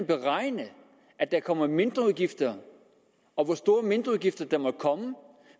beregne at der kommer mindreudgifter og hvor store mindreudgifter der måtte komme